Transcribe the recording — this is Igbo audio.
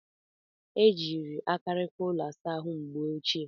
E jiiri akarika arụ ụlọ ịsa ahụ mgbe ochie.